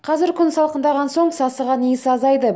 қазір күн салқындаған соң сасыған иіс азайды